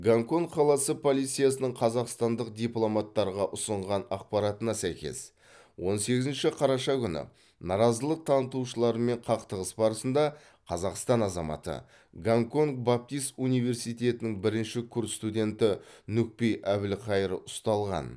гонконг қаласы полициясының қазақстандық дипломаттарға ұсынған ақпаратына сәйкес он сегізінші қараша күні наразылық танытушылармен қақтығыс барысында қазақстан азаматы гонконг баптист университетінің бірінші курс студенті нүкпи әбілқайыр ұсталған